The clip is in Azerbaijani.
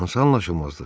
Hansı anlaşılmazlıq?